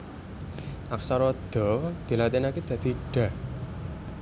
Aksara Da dilatinaké dadi Da